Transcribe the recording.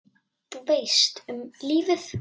Þú veist, um lífið?